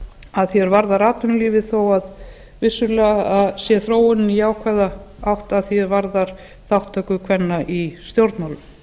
að því er varðar atvinnulífið þó að vissulega sé þróunin jákvæð allt að því er varðar þátttöku kvenna í stjórnmálum þó